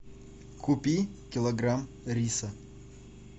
купи килограмм риса